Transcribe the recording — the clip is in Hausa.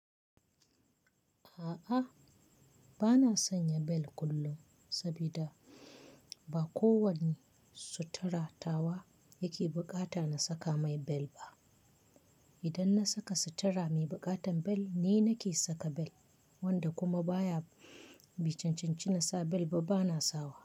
A'a, bana sanya bel kullum sabida ba kowane sutura tawa yake buƙata na saka mai bel ba. Idan na saka sutura mai buƙatar bel ni nake saka bel wanda kuma baya, bai cancanci na sa bel ba bana sa wa.